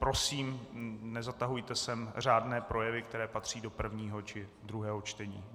Prosím, nezatahujte sem řádné projevy, které patří do prvního či druhého čtení.